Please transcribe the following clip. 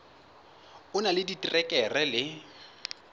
o na le diterekere le